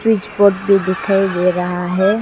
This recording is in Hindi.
फ्रिज बोर्ड भी दिखाई दे रहा है।